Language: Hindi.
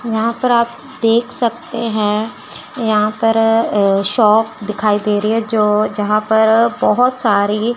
यहां पर आप देख सकते हैं यहां पर अ अ शॉप दिखाई दे रही है जो जहां पर बहुत सारी --